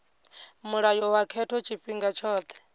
mulayo wa khetho tshifhinga tshothe